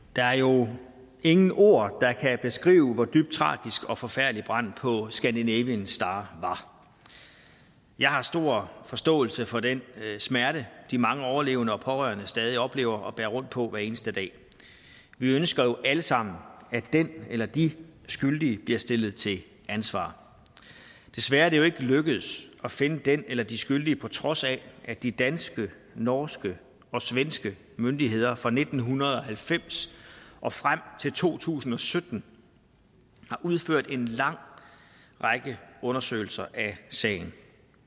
der er jo ingen ord der kan beskrive hvor dybt tragisk og forfærdelig branden på scandinavian star var jeg har stor forståelse for den smerte de mange overlevende og pårørende stadig oplever og bærer rundt på hver eneste dag vi ønsker jo alle sammen at den eller de skyldige bliver stillet til ansvar desværre er det jo lykkedes at finde den eller de skyldige på trods af at de danske norske og svenske myndigheder fra nitten halvfems og frem til to tusind og sytten har udført en lang række undersøgelser af sagen